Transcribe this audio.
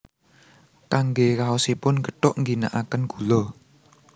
Kangge raosipun gethuk ngginakaken gula